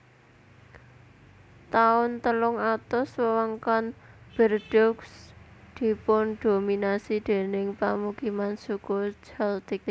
Taun telung atus wewengkon Bordeaux dipundhominasi déning pamukiman Suku Celtic